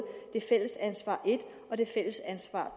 det fælles ansvar i i og det fælles ansvar